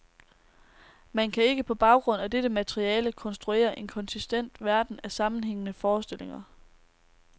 Man kan ikke på baggrund af dette materiale konstruere en konsistent verden af sammenhængende forestillinger.